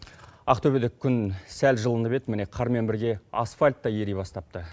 ақтөбелік күн сәл жылынып еді міне қармен бірге асфальт та ери бастапты